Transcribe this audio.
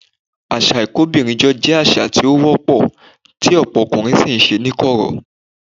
Àṣà ìkóbìnrijọ jẹ́ àṣà tí ó wọ́pọ̀, tí ọ̀pọ̀ ọkùnrin sì ń ṣe ní kọ̀rọ̀.